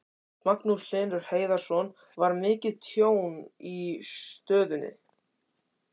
Magnús Hlynur Hreiðarsson: Var mikið tjón í stöðinni?